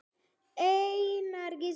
Einar Gísli.